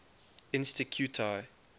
insticuti